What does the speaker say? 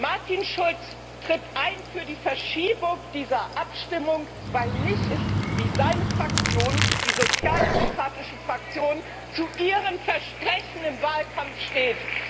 Martin Schulz tritt ein für die Verschiebung dieser Abstimmung, weil nicht mehr klar ist, wie seine Fraktion, die Sozialdemokratische Fraktion, zu ihrem Versprechen im Wahlkampf steht.